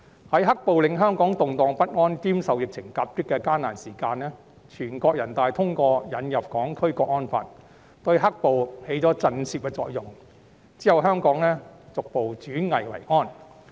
在"黑暴"令香港動盪不安兼受疫情夾擊的艱難時期，全國人民代表大會通過引入《香港國安法》，對"黑暴"起了震懾作用，之後香港逐步轉危為安。